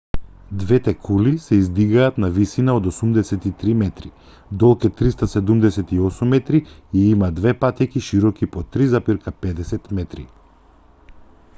двете кули се издигаат на висина од 83 метри долг е 378 метри и има две патеки широки по 3,50 метри